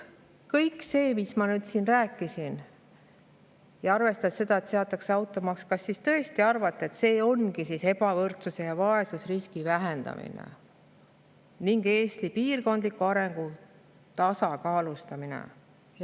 Kõik see, mis ma siin rääkisin – kas te tõesti arvate, et automaksu kehtestamine ongi ebavõrdsuse ja vaesusriski vähendamine ning Eesti piirkondliku arengu tasakaalustamine?